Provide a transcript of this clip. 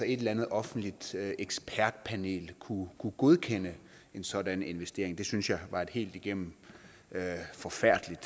et eller andet offentligt ekspertpanel kunne godkende en sådan investering det synes jeg var et helt igennem forfærdeligt